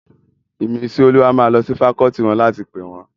Ìmísíolúwa máa lọ sí fakọọti wọn láti pè wón